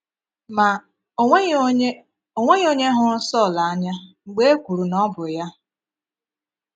Ma, o nweghị onye o nweghị onye hụrụ́ Sọl anya mgbe e kwùrù na ọ bụ ya.